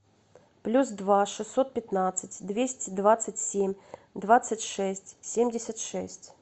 плюс два шестьсот пятнадцать двести двадцать семь двадцать шесть семьдесят шесть